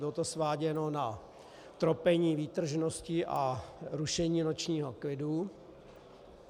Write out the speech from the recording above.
Bylo to sváděno na tropení výtržností a rušení nočního klidu.